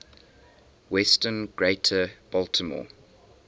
western greater baltimore